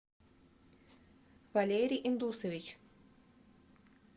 валерий индусович